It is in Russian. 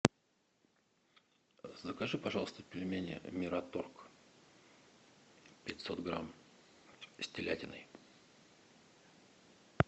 закажи пожалуйста пельмени мираторг пятьсот грамм с телятиной